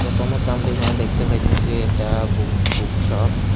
প্রথমত আমরা এইখানে দেখতে পাইতেসি একটা বু-বুক শপ ।